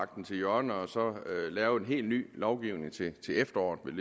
den til hjørne og så lave en helt ny lovgivning til efteråret